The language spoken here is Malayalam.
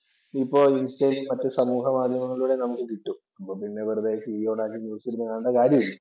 ഇപ്പോ ഇന്‍സ്റ്റായിലും മറ്റു സമൂഹമാധ്യമങ്ങളിലൂടെയും നമുക്ക് കിട്ടും. അപ്പൊ പിന്നെ വെറുതെ ടിവി ഓണാക്കി ന്യൂസ് ഇരുന്നു കാണേണ്ട കാര്യമില്ലല്ലോ.